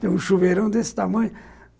Tem um chuveirão desse tamanho.